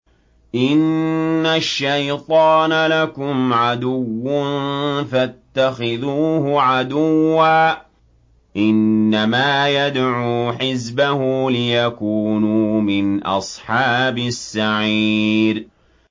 إِنَّ الشَّيْطَانَ لَكُمْ عَدُوٌّ فَاتَّخِذُوهُ عَدُوًّا ۚ إِنَّمَا يَدْعُو حِزْبَهُ لِيَكُونُوا مِنْ أَصْحَابِ السَّعِيرِ